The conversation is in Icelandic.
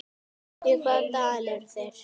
Í hvaða dal eru þeir?